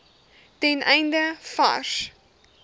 ten einde vars